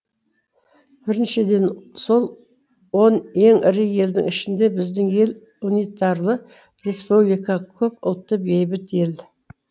біріншіден сол он ең ірі елдің ішінде біздің ел унитарлы республика көпұлтты бейбіт ел